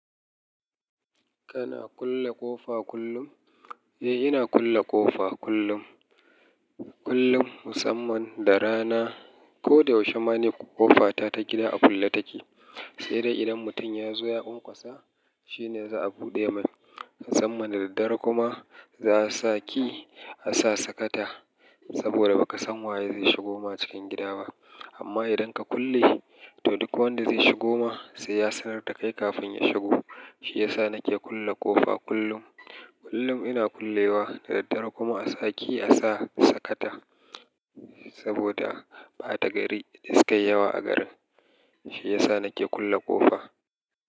Kana kulle ƙofa kullum? Eh, ina kulle ƙofa kullum. Kullum musamman da rana. Ko da yaushe ma ni ƙofata ta gida a kulle take. Sai dai idan mutum ya zo ya ƙonƙwasa shine za'a bu ɗe mai. Musamman da daddare kuma, za'a sa ki a sa sakata. Saboda ba ka san waye zai shigo ma cikin gida ba. Amma idan ka kulle, to duk wanda zai shigo ma, sai ya sanar da kai kafin ya shigo. Shi ya sa nake kulle ƙofa kullum. Kullum ina kullewa da daddare kuma a sa ki, a sa sakata. Saboda ɓata gari, da sukayi yawa a garin. Shi ya sa nake kulle ƙofa.